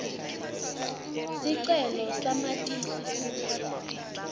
sicelo samatisi futsi